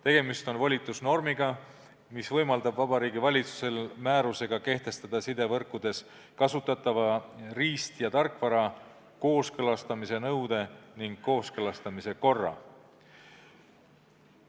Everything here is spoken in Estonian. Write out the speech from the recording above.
Tegemist on volitusnormiga, mis võimaldab Vabariigi Valitsusel määrusega kehtestada sidevõrkudes kasutatava riist- ja tarkvara kooskõlastamise nõude ning kooskõlastamise korra.